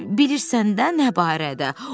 Bilirsən də nə barədə?